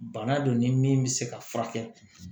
Bana don ni min bɛ se ka furakɛ